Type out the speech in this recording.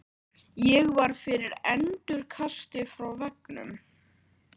Ég varð fyrir endurkasti frá veggnum.